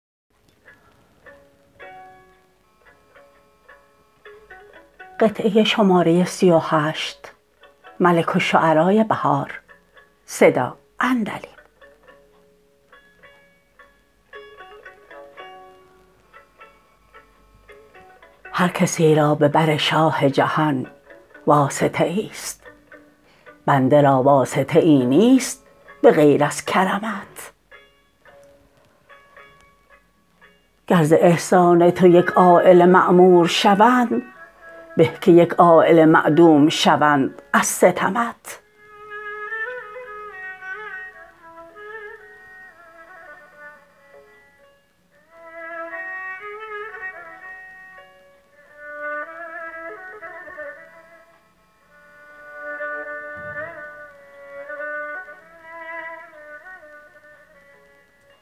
هرکسی را به بر شاه جهان واسطه ایست بنده را واسطه ای نیست بغیر از کرمت گر ز احسان تو یک عایله معمور شوند به که یک عایله معدوم شوند از ستمت